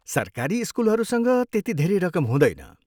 सरकारी स्कुलहरूसँग त्यति धेरै रकम हुँदैन।